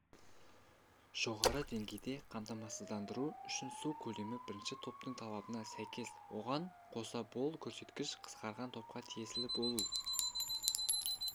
жоғары деңгейде қамтамасыздандыру үшін су көлемі бірінші топтың талабына сәйкес оған қоса бұл көрсеткіш қысқарған топқа тиесілі болуы